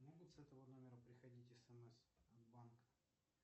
могут с этого номера приходить смс от банка